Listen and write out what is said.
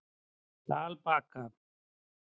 Dalbakka